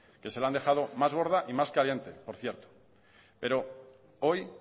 que se la han dejado más gorda y más caliente por cierto pero hoy